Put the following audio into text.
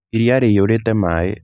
Iria rrĩiyũrĩte maĩ.